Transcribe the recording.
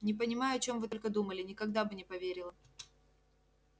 не понимаю о чём вы только думали никогда бы не поверила